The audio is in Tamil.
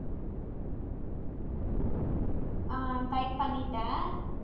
ஆஹ் type பண்ணிட்டேன்